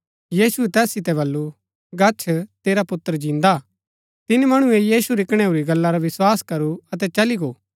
यीशुऐ तैस सितै बल्लू गच्छ तेरा पुत्र जिन्दा हा तिनी मणुऐ यीशु री कणैऊरी गल्ला रा विस्वास करु अतै चली गो